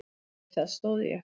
Við það stóð ég.